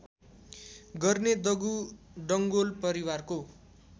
गर्ने दगु डङ्गोल परिवारको